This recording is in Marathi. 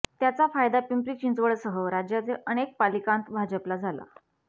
त्याचा फायदा पिंपरी चिंचवडसह राज्यातील अनेक पालिकांत भाजपला झाला